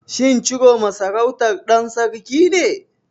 Shin Ciroma sarautar ɗan sarki ce?